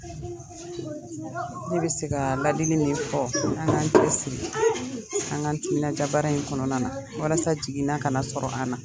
Ne be se ka ladili min fɔ an k'an cɛsiri an k'an timinandiya baara in kɔnɔna na walasa jigina ka na sɔrɔ an na.